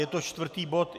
Je to čtvrtý bod.